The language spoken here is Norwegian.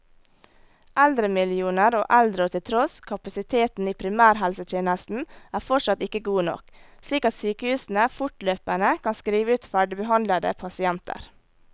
Eldremillioner og eldreår til tross, kapasiteten i primærhelsetjenesten er fortsatt ikke god nok, slik at sykehusene fortløpende kan skrive ut ferdigbehandlede pasienter.